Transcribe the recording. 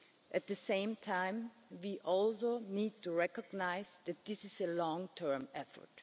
year. At the same time, we also need to recognise that this is a long term effort.